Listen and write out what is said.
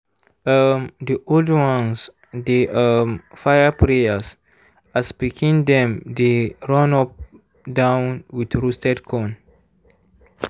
um di old ones dey um fire prayers as pikin dem dey run up-down with roasted corn.